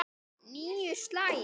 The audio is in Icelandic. Níu slagir.